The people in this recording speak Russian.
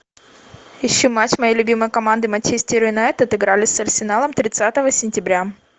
ищи матч моей любимой команды манчестер юнайтед играли с арсеналом тридцатого сентября